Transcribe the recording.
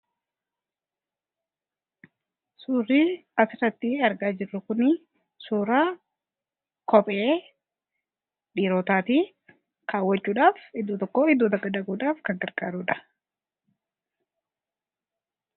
Suurri asirratti argaa jirru kuni suuraa kophee dhiirotaati. Kaawwachuudhaaf iddoo tokkoo gara iddoo tokko dhaquudhaaf kan gargaarudha.